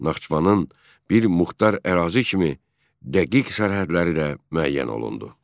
Naxçıvanın bir muxtar ərazi kimi dəqiq sərhədləri də müəyyən olundu.